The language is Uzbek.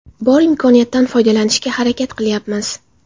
Bor imkoniyatdan foydalanishga harakat qilayapmiz.